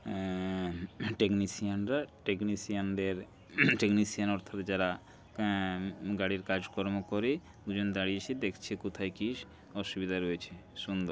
আ-আ-আ technician -রা technician -দের technician অর্থাৎ যারা আহ গাড়ির কাজকর্ম করে দুজন দাঁড়িয়ে এসে দেখছে কোথায় কি অসুবিধা রয়েছে সুন্দর ।